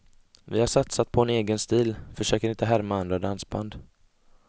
Vi har satsat på en egen stil, försöker inte härma andra dansband.